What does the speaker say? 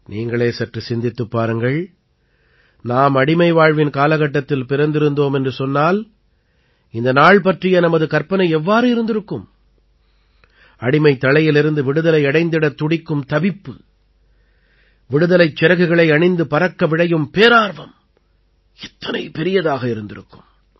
நீங்களே சற்று சிந்தித்துப் பாருங்கள் நாம் அடிமை வாழ்வின் காலகட்டத்தில் பிறந்திருந்தோம் என்று சொன்னால் இந்த நாள் பற்றிய நமது கற்பனை எவ்வாறு இருந்திருக்கும் அடிமைத்தளையிலிருந்து விடுதலை அடைந்திடத் துடிக்கும் தவிப்பு விடுதலைச் சிறகுகளை அணிந்து பறக்க விழையும் பேரார்வம் எத்தனை பெரியதாக இருந்திருக்கும்